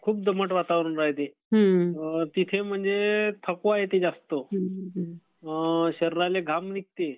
खूप दमट वातावरण राहते. तिथे म्हणजे थकवा येते जास्त. शरीराले घाम निघते